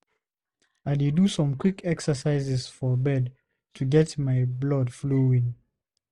I dey do some quick exercises for bed to get my blood flowing.